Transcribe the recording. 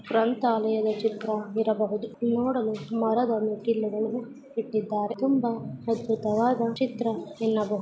ಗ್ರಂಥಾಲಯದ ಚಿತ್ರ ಇರಬಹುದು ನೋಡಲು ಮರದ ಮೇಲೆ ಇಟ್ಟಿದ್ದಾರೆ ನೋಡಲು ಅದ್ಭುತವಾದ ಚಿತ್ರ ಎನ್ನಬಹುದು.